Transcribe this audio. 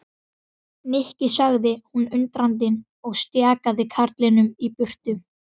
Nikki sagði hún undrandi og stjakaði karlinum í burtu.